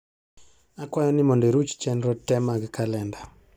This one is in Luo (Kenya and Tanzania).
akwayo ni modo iruchi chenro te mag kalenda